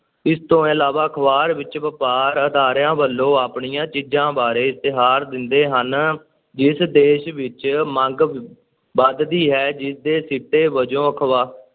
ਇਸ ਤੋਂ ਇਲਾਵਾ ਅਖ਼ਬਾਰ ਵਿੱਚ ਵਪਾਰ ਅਦਾਰਿਆਂ ਵੱਲੋਂ ਆਪਣੀਆਂ ਚੀਜ਼ਾਂ ਬਾਰੇ ਇਸ਼ਤਿਹਾਰ ਦਿੰਦੇ ਹਨ, ਜਿਸ ਦੇਸ਼ ਵਿੱਚ ਮੰਗ ਵ~ ਵੱਧਦੀ ਹੈ, ਜਿਸਦੇ ਸਿੱਟੇ ਵਜੋਂ ਅਖਬਾ~